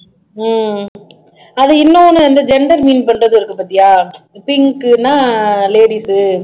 உம் அது இன்னொண்ணு வந்து gender mean பண்றது இருக்கு பாத்தியா pink ன்னா ladies உ